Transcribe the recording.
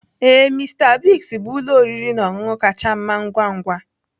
Ee, Mister Biggs bụ ụlọ oriri na ọṅụṅụ kacha mma ngwa ngwa.